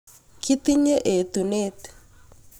kitinye etunet